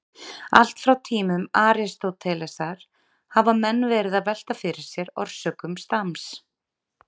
Allt frá tímum Aristótelesar hafa menn verið að velta fyrir sér orsökum stams.